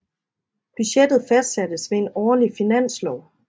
Budgettet fastsattes ved en årlig finanslov